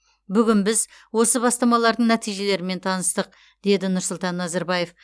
бүгін біз осы бастамалардың нәтижелерімен таныстық деді нұрсұлтан назарбаев